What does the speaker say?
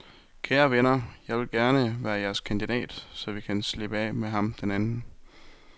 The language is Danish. Kære venner, jeg vil gerne være jeres kandidat, så vi kan slippe af med ham den anden.